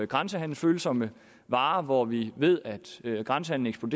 grænsehandelsfølsomme varer hvor vi ved at grænsehandelen